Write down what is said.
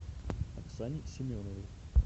оксане семеновой